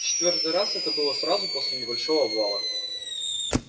в четвёртый раз это было сразу после небольшого обвала